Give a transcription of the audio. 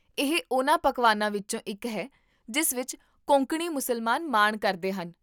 ਇਹ ਉਹਨਾਂ ਪਕਵਾਨਾਂ ਵਿੱਚੋਂ ਇੱਕ ਹੈ ਜਿਸ ਵਿੱਚ ਕੋਂਕਣੀ ਮੁਸਲਮਾਨ ਮਾਣ ਕਰਦੇ ਹਨ